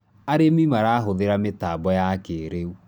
arĩmi marahuthira mitambo ya kĩiriu